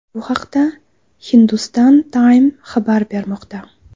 Bu haqda Hindustan Times xabar bermoqda .